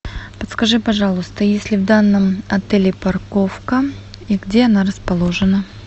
подскажи пожалуйста есть ли в данном отеле парковка и где она расположена